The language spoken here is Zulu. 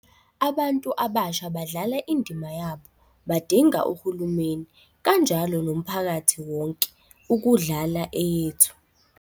Abantu abasha badlala indima yabo, badinga uhulumeni, kanjalo nomphakathi wonke, ukudlala eyethu.